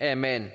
at man